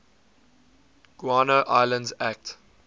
guano islands act